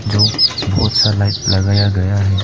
जो बहुत सारा लाइट लगाया गया है।